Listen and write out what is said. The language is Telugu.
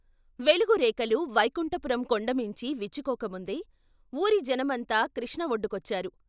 వెలుగు రేకలు వైకుంఠపురం కొండ మీంచి విచ్చుకోక ముందే ఊరి జనమంతా కృష్ణ ఒడ్డుకొచ్చారు.